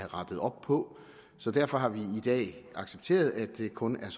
rettet op på så derfor har vi i dag accepteret at det kun er